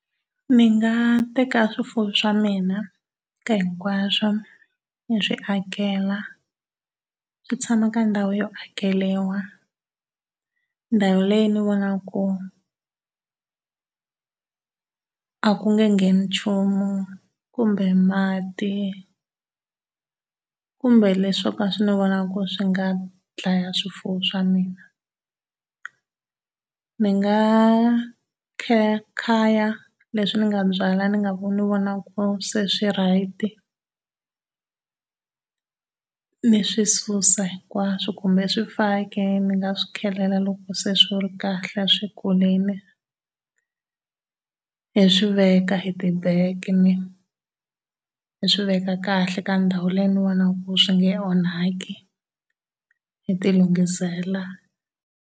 Ni nga teka swifuwo swa mina ka hinkwaswo ni swi akela swi tshama ka ndhawu yo akeriwa, ndhawu leyi ni vonaka ku a ku nge ngheni nchumu kumbe mati kumbe leswo ka ni vonaka ku swi nga dlaya swifuwo swa mina. Ni nga khaykhaya leswi ni nga byala ni nga ni vonaka ku se swi right. Ni swi susa hinkwaso kumbe swifaki ni nga swi loko se swi ri kahle swi kurile. Ni swi veka hi ti-bag ni swi veka kahle ka ndhawu leyi ni vonaka ku swi nge onhaki, ni ti lunghisela.